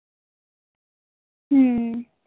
হম